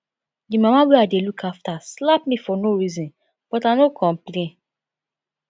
the mama wey i dey look after slap me for no reason but i no complain